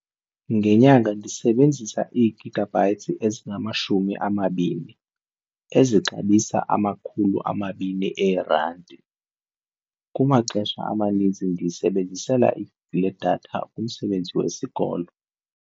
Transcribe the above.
Ngenyanga ndisebenzisa ii-gigabytes ezingamashumi amabini ezixabisa amakhulu amabini eerandi. Kumaxesha amanintsi ndiyisebenzisela le datha umsebenzi wesikolo.